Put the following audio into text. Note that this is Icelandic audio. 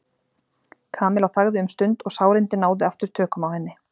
Kamilla þagði um stund og sárindin náðu aftur tökum á henni.